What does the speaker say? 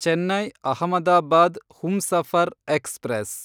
Chennai Ahmedabad Humsafar express